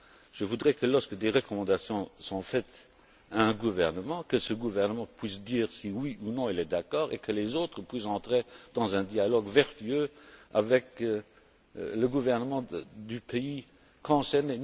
Je voudrais que lorsque des recommandations sont faites à un gouvernement, que ce gouvernement puisse dire si oui ou non il est d'accord et que les autres puissent entrer dans un dialogue vertueux avec le gouvernement du pays concerné.